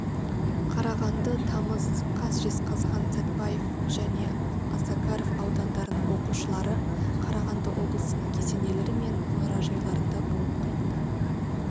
қарағанды тамыз қаз жезқазған сәтпаев және осакаров аудандарының оқушылары қарағанды облысының кесенелері мен мұражайларында болып қайтты